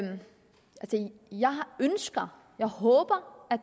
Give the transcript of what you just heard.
jeg ønsker og håber at